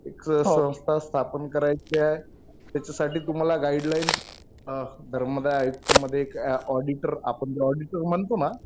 एक संस्था स्थापन करायची आहे. त्याच्यासाठी तुम्हाला गाईडलाईन धर्मदाय आयुक्त मध्ये एक ऑडिटर. आपण जे ऑडिटर म्हणतो ना